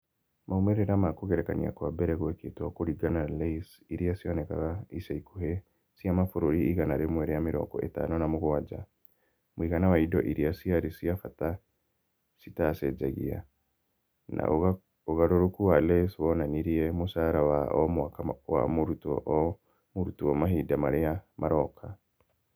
Maumĩrĩra ma kũgerekania kwa mbere gwekĩtwo kũringana na LAYS iria cionekaga ica ikuhĩ cia mabũrũri igana rĩmwe rĩa mĩrongo ĩtano na mũgwanja (mũigana wa indo iria ciarĩ cia bata citacenjagia), na ũgarũrũku wa LAYS wonanirie mũcara wa o mwaka wa mũrutwo o mũrutwo mahinda marĩa maroka.